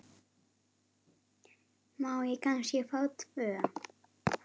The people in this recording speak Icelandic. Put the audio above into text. Má ég kannski fá tvö?